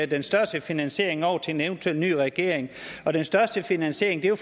den største finansiering over til en eventuel ny regering og den største finansiering er jo